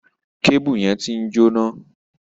Kébùù yẹn ti ń jóná.